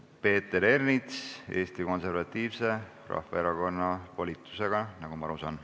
Peeter Ernits Eesti Konservatiivse Rahvaerakonna volitusega, nagu ma aru saan.